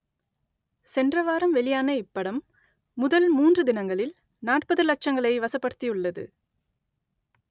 சென்ற வாரம் வெளியான இப்படம் முதல் மூன்று தினங்களில் நாற்பது லட்சங்களை வசப்படுத்தியுள்ளது